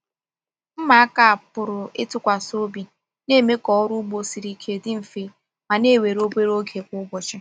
Mma aka a pụrụ ịtụkwasị obi na-eme ka ọrụ ugbo siri ike dị mfe ma na-ewe obere oge kwa ụbọchị.